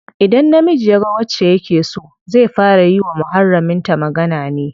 Idan namiji yaga wacce yake so, zai fara yi wa muharramin ta magana ne.